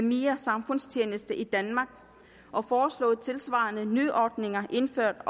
mere samfundstjeneste i danmark og foreslået tilsvarende nyordninger indført